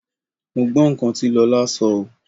Mo gbọ́ nǹkan tí Lọlá sọ oo.